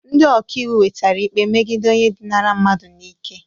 Ndị ọka iwu nwetara ikpe megide onye dinara mmadụ n'ike